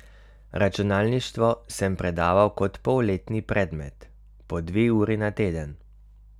Računalništvo sem predaval kot polletni predmet, po dve uri na teden.